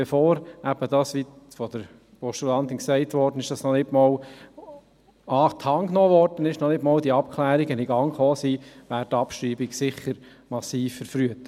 Bevor das noch nicht an die Hand genommen wurde, noch nicht einmal die Abklärungen in Gang gekommen sind, wäre die Abschreibung – wie es von der Postulantin gesagt wurde – sicher massiv verfrüht.